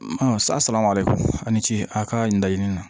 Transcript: sa salama ale ko a ni ce a ka nin laɲini na